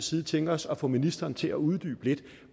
side tænke os at få ministeren til at uddybe lidt